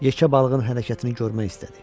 Yekə balığın hərəkətini görmək istədi.